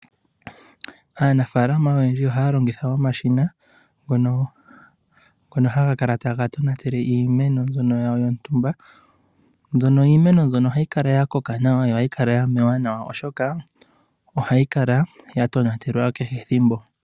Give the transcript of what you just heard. Aanafaalama oyendji ohaya longitha omashina ngono haga kala taga tonatele iimeno mbyono yawo yontumba. Iimeno mbyono ohayi kala ya koka nawa nohayi kala ya mewa nawa oshoka ohayi kala ya tonatelwa kehe ethimbo.